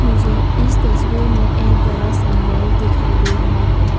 मुझे इस तस्वीर में एक बड़ा सा मॉल दिखाई दे रहा है।